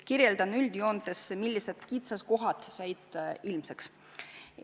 Kirjeldan üldjoontes, millised kitsaskohad said ilmsiks.